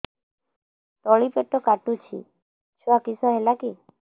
ତଳିପେଟ କାଟୁଚି ଛୁଆ କିଶ ହେଲା କି